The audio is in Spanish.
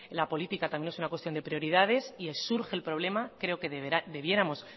la política también es una cuestión de prioridades y si surge el problema creo que debiéramos